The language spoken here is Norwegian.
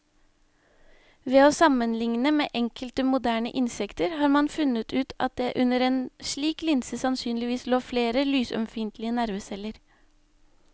Ved å sammenligne med enkelte moderne insekter har man funnet ut at det under en slik linse sannsynligvis lå flere lysømfintlige nerveceller.